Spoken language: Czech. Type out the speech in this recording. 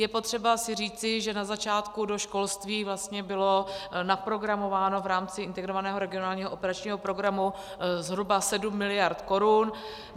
Je potřeba si říci, že na začátku do školství vlastně bylo naprogramováno v rámci Integrovaného regionálního operačního programu zhruba 7 miliard korun.